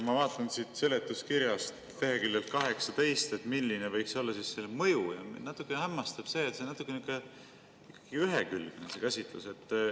Ma vaatan siit seletuskirjast leheküljelt 18, milline võiks olla selle mõju, ja mind natuke hämmastab, et see käsitlus on selline ühekülgne.